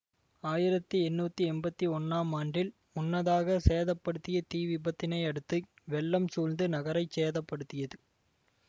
ஆயிரத்தி எண்ணூற்றி எம்பத்தி ஒன்னாம் ஆண்டில் முன்னதாக சேத படுத்திய தீ விபத்தினை அடுத்து வெள்ளம் சூழ்ந்து நகரை சேதப்படுத்தியது